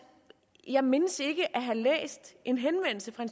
jeg mindes ikke at have læst en henvendelse fra